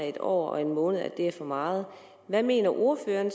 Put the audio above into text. en år og en måned er for meget hvad mener ordføreren